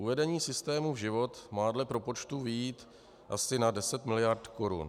Uvedení systému v život má dle propočtů vyjít asi na 10 miliard korun.